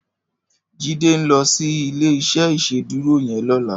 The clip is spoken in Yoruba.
Jide n lò si ilé iṣè Ìṣédùró yèn lòlá